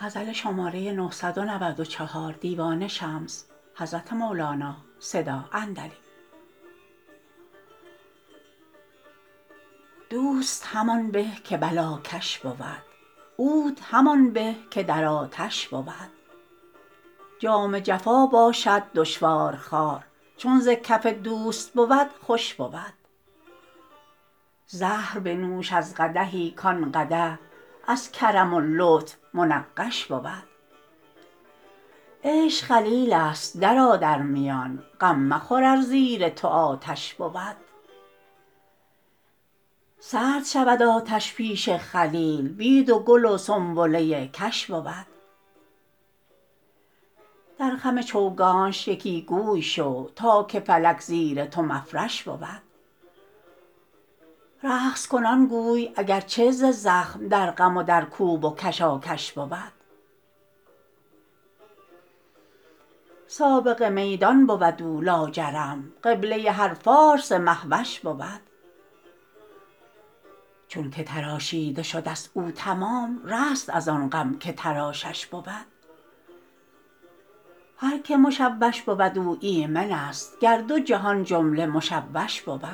دوست همان به که بلاکش بود عود همان به که در آتش بود جام جفا باشد دشوارخوار چون ز کف دوست بود خوش بود زهر بنوش از قدحی کان قدح از کرم و لطف منقش بود عشق خلیلست درآ در میان غم مخور ار زیر تو آتش بود سرد شود آتش پیش خلیل بید و گل و سنبله کش بود در خم چوگانش یکی گوی شو تا که فلک زیر تو مفرش بود رقص کنان گوی اگر چه ز زخم در غم و در کوب و کشاکش بود سابق میدان بود او لاجرم قبله هر فارس مه وش بود چونک تراشیده شده ست او تمام رست از آن غم که تراشش بود هر کی مشوش بود او ایمنست گر دو جهان جمله مشوش بود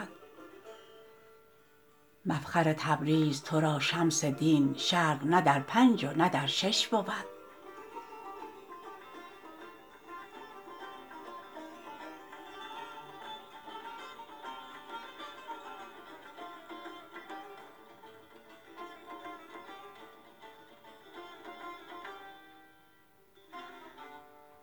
مفخر تبریز تو را شمس دین شرق نه در پنج و نه در شش بود